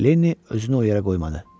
Lenni özünü o yerə qoymadı.